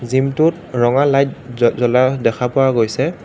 জিমটোত ৰঙা লাইট জ্ব জ্বলা দেখা পোৱা গৈছে।